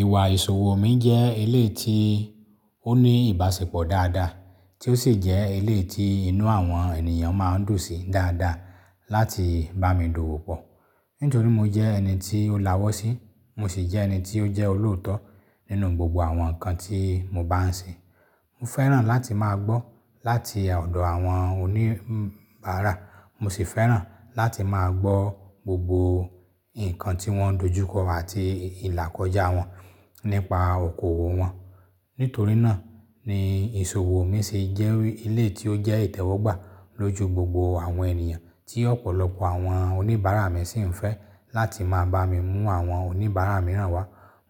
Ìwà ìṣòwò mi jẹ́ eleyi tí ó ní ìbáṣepọ̀ dáadáa, tí ó sì jẹ́ eleyi tí inú àwọn ènìyàn máa ń dùn sí dáadáa láti bá mi dowó pọ̀. Nítorí mo jẹ́ ẹni tí ó láwọ̀ sí, mo sì jẹ́ ẹni tí ó jẹ́ olóòótọ́ nínú gbogbo àwọn nǹkan tí mo bá ń ṣe. Mo fẹ́ràn láti máa gbọ́ láti ọ̀dọ̀ àwọn oníbàárà, mo sì fẹ́ràn láti máa gbọ́ gbogbo nǹkan tí wọ́n dojú kọ àti ìlàkọjá wọn nípa okòwò wọn. Nítorí náà ni ìṣòwò mi se jẹ́ éleyi tí ó jẹ́ ìtẹ́wọ́gbà lójú gbogbo àwọn ènìyàn tí ọ̀pọ̀lọpọ̀ àwọn oníbàárà mi sì ń fẹ́ láti máa bá mi mú àwọn oníbàárà mìíràn wá.